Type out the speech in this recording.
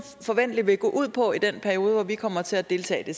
forventelig vil gå ud på i den periode hvor vi kommer til at deltage det